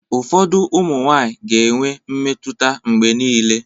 Ụfọdụ ụmụ nwaanyị ga-enwe mmetụta mgbe niile.